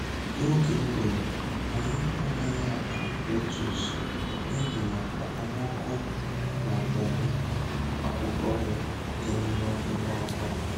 N'oge ụgụrụ, anyị anaghị akụ letus n'ihi na okpomọkụ na-akpọmwụ akwụkwọ ya dị nro ngwa ngwa.